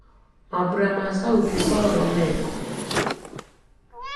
mambura ma sauti sol me kũ